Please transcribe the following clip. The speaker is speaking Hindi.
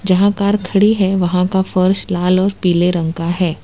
जहां कार खड़ी है वहां का फर्श लाल और पीले रंग का है।